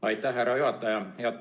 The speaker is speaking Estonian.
Aitäh, härra juhataja!